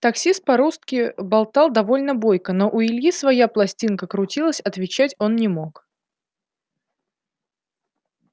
таксист по-русски болтал довольно бойко но у ильи своя пластинка крутилась отвечать он не мог